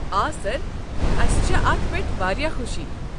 آ سر، اسہِ چھےٚ اتھ پٮ۪ٹھ واریاہ خوشی۔